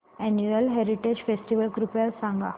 annual heritage festival कृपया सांगा